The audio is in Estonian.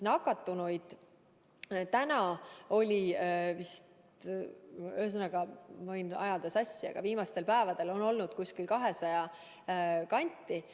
Nakatunuid oli täna, võin ajada sassi, aga viimastel päevadel on neid olnud 200 kanti päevas.